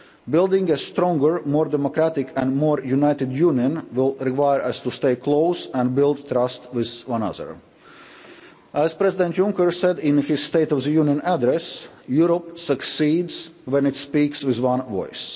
Building a stronger, more democratic and more united Union will require us to stay close and build trust with one another. As President Juncker said in his State of the Union address, Europe succeeds when it speaks with one voice.